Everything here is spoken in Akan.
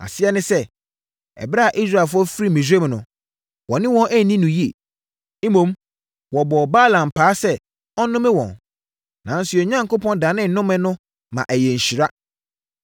Aseɛ ne sɛ, ɛberɛ a Israelfoɔ firii Misraim no, wɔne wɔn anni no yie. Mmom, wɔbɔɔ Balaam paa sɛ ɔnnome wɔn, nanso yɛn Onyankopɔn danee nnome no ma ɛyɛɛ nhyira.